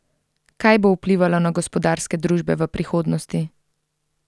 Kaj bo vplivalo na gospodarske družbe v prihodnosti?